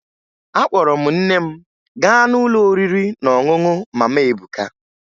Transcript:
Akpọrọ m nne m gaa n'ụlọ oriri na ọṅụṅụ Mama Ebuka